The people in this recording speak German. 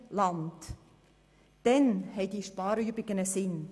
Dann ergeben diese Sparübungen einen Sinn.